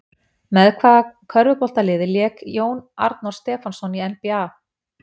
Með hvaða körfuboltaliði lék Jón Arnór Stefánsson í NBA?